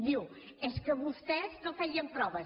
diu és que vostès no feien proves